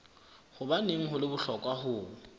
hobaneng ho le bohlokwa ho